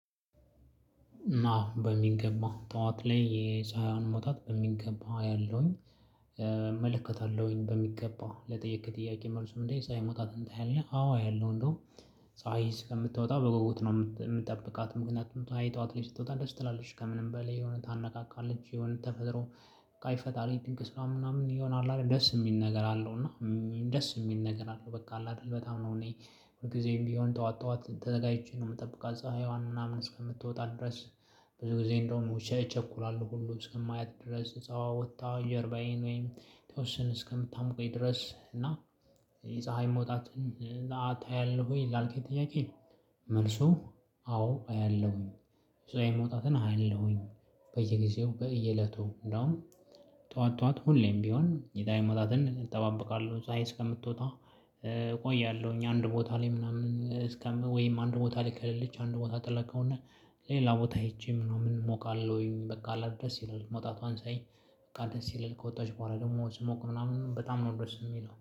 እና በሚገባ ጠዋት ላይ የፀሀይዋን መውጣት በሚገባ አያለሁኝ እመለከታለሁኝ በሚገባ ለጠየከኝ ጥያቄ መልሱ ምንድነው? የፀሀይ መውጣትን ታያለህ አዎ አያለሁ። እንደውም ፀሀይ እስከምትወጣ በጉጉት ነው። ምጠብቃት ምክንያቱም ፀሀይ ጠዋት ላይ ስትወጣ ደስ ትላለች ከምንም በላይ የሆነ ታነቃቃለች። የሆነ ተፈጥሮ በቃ የፈጣሪ ድንቅ ስራ ምናምን የሆነ አለ አይደል? ደስ የሚል ነገር አለው። እና ደስ የሚል ነገር አለው በቃ አለ አይደል በጣም ነው። እኔ ሁልጊዜም ቢሆን ጠዋት ጠዋት ተዘጋጅቼ ነው የምጠብቃት ፀሀይዋን ምናምን እስከምትወጣ ድረስ። ብዙ ጊዜ እንደዉም እቸኩላለሁ ሁሉ እስከማያት ድረስ ፀሀይዋ ወጥታ ጀርባዬን ወይም የተወሰነ እስከምታሞቀኝ ድረስ። እና የፀሀይ መውጣትን ታያለህ ወይ? ላልከኝ ጥያቄ። መልሱ አዎ አያለሁኝ። የፀሀይ መውጣትን አያለሁኝ በየጊዜው በየእለቱ እንደውም ጠዋት ጠዋት ሁሌም ቢሆን የፀሀይ መጣትን እጠባበቃለሁ። ፀሀይ እስከምትወጣ? ቆያለህኝ አንድ ቦታ ላይ ምናምን እስከም ወይም አንድ ቦታ ከሌለች አንድ ቦታ ጥላ ከሆነ ሌላ ቦታ ሄጄም ሞቃለሁኝ። በቃ አለ አይደል? ደስ ይላል መውጣቷን ሳይ በቃ ደስ ይላል ከወጣች በኋላ ደግሞ ስሞቅ ምናምን በጣም ነው ደስ የሚለው